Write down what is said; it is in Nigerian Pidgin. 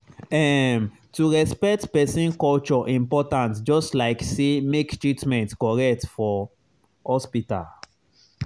ehm to respect person culture important just like say make treatment correct for hospital.